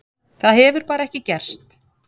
Það hefur bara ekki gerst.